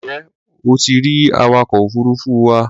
Ǹjẹ́ o ti rí awakọ̀ òfuruufú wa?